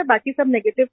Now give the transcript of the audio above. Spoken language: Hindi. बाकी सब नेगेटिव थे